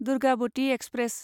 Durgavati express